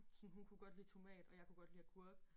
Sådan hun kunne godt lide tomat og jeg kunne godt lide agurk